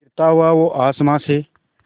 गिरता हुआ वो आसमां से